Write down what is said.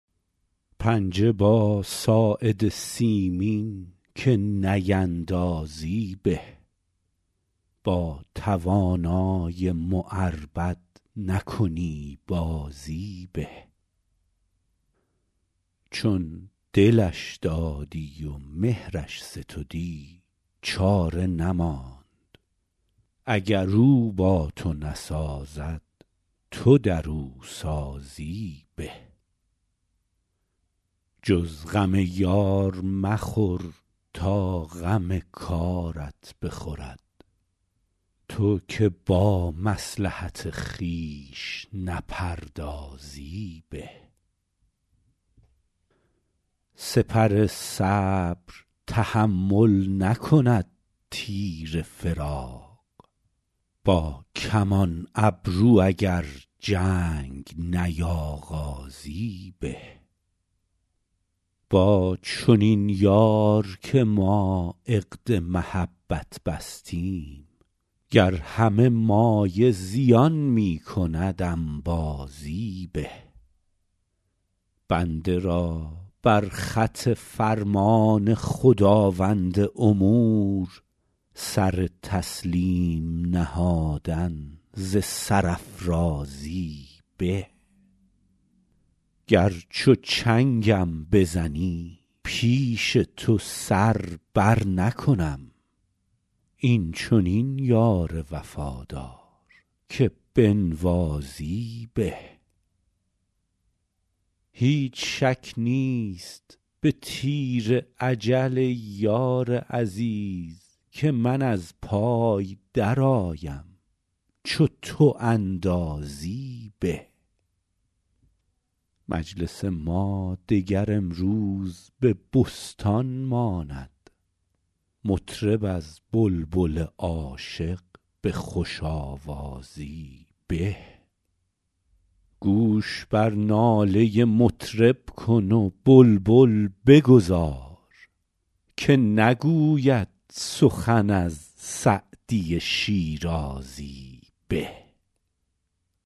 پنجه با ساعد سیمین که نیندازی به با توانای معربد نکنی بازی به چون دلش دادی و مهرش ستدی چاره نماند اگر او با تو نسازد تو در او سازی به جز غم یار مخور تا غم کارت بخورد تو که با مصلحت خویش نپردازی به سپر صبر تحمل نکند تیر فراق با کمان ابرو اگر جنگ نیاغازی به با چنین یار که ما عقد محبت بستیم گر همه مایه زیان می کند انبازی به بنده را بر خط فرمان خداوند امور سر تسلیم نهادن ز سرافرازی به گر چو چنگم بزنی پیش تو سر برنکنم این چنین یار وفادار که بنوازی به هیچ شک نیست به تیر اجل ای یار عزیز که من از پای درآیم چو تو اندازی به مجلس ما دگر امروز به بستان ماند مطرب از بلبل عاشق به خوش آوازی به گوش بر ناله مطرب کن و بلبل بگذار که نگوید سخن از سعدی شیرازی به